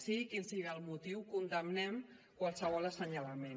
sigui quin sigui el motiu condemnem qualsevol assenyalament